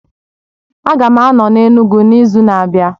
A ga m ano na Enugwu n'izu na-abịa